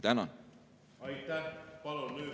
Tänan!